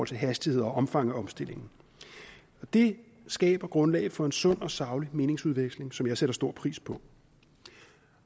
til hastighed og omfang af omstillingen det skaber grundlag for en sund og saglig meningsudveksling som jeg sætter stor pris på